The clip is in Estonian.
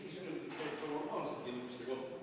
Kas see viis minutit käib ka normaalsete inimeste kohta?